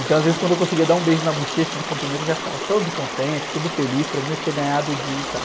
Então, às vezes, quando eu conseguia dar um beijo na bochecha de cumprimento, eu já ficava todo contente, todo feliz, para mim, eu tinha ganhado o dia e tal.